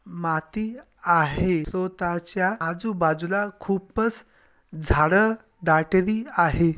माती आहे सो त्याच्या आजू बाजूला खूपच झाड दाटली आहे.